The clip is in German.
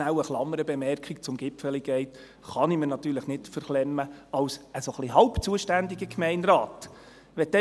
Eine Klammerbemerkung zum «Gipfeli Gate» kann ich mir als halb zuständiger Gemeinderat natürlich nicht verklemmen.